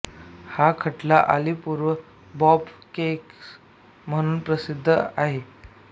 हा खटला Alipur bomb case म्हणून प्रसिद्ध आहे